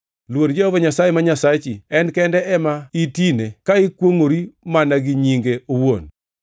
Luor Jehova Nyasaye ma Nyasachi, en kende ema itine ka ikwongʼori mana gi nyinge owuon.